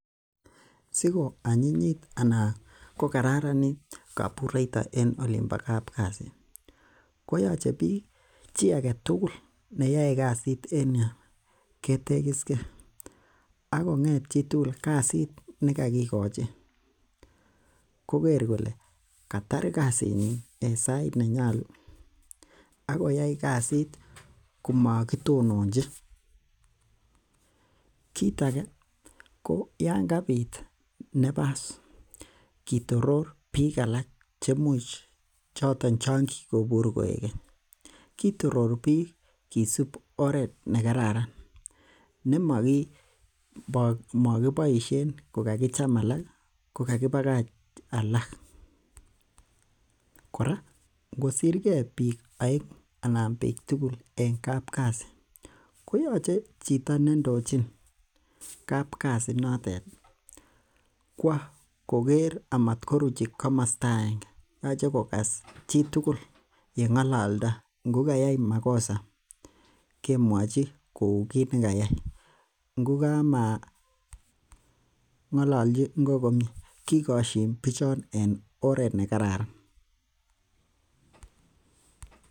Siko anyinyit ana kokararanit kobureito en olin bo kapkasi koyoche biik chi aketugul neyoe kasit en yuu ketegisgee akong'et chitugul kasit nekokikochi koker kole katar kasit nyin en sait nenyolu akoyai kasit komakitononji, kit age yan kabit nafas kitoror bik alak chemuch choton chon kikobur koik keny kitorori biik kisip oret nekararan nemakiboisien kokakicham alak kokakibakach alak. Kora ngosirgee biik oeng'u anan biik tugul en kapkasi koyoche chito nendochin kapkasi inotet ih kwo koker amatkoruchi komosta agenge yoche kokas chitugul yeng'ololdo ngo kayai makosa kemwochi kou kit nekayai ngo kamang' ololji ngo komie kikoshin bichon komie en oret nekararan